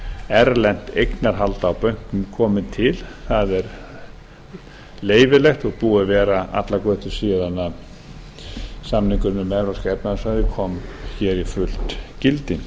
erlent eignarhald á banka m komi til það er leyfilegt og búið að vera allar götur síðan samningurinn um evrópska efnahagssvæðið kom hér í fullt gildi